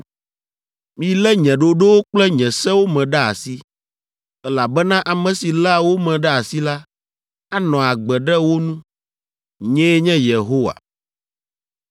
Milé nye ɖoɖowo kple nye sewo me ɖe asi, elabena ame si léa wo me ɖe asi la, anɔ agbe ɖe wo nu. Nyee nye Yehowa.